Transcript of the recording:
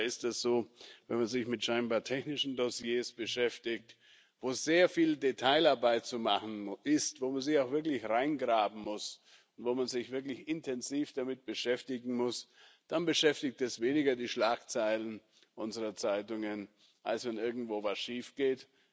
Aber anscheinend ist es so, wenn man sich mit scheinbar technischen Dossiers beschäftigt, wo sehr viel Detailarbeit zu machen ist, wo man sich auch wirklich reingraben muss und wo man sich wirklich intensiv damit beschäftigen muss, dann beschäftigt das weniger die Schlagzeilen unserer Zeitungen, als wenn irgendwo was schiefgeht.